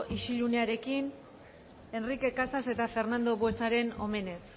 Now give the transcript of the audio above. isiliarekin enrique casas eta fernando buesaren homenez